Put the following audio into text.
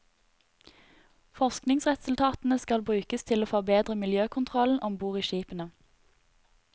Forskningsresultatene skal brukes til å forbedre miljøkontrollen om bord i skipene.